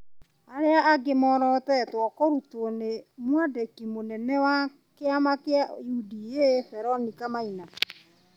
Arĩa angĩ moorotetwo kũrutwo nĩ mwandĩki mũnene wa kĩama kĩa UDA Veronica Maina,